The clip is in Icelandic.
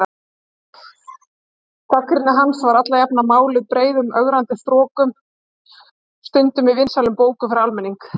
Gagnrýni hans var alla jafna máluð breiðum ögrandi strokum, stundum í vinsælum bókum fyrir almenning.